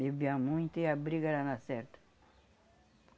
Bebia muito e a briga era na certa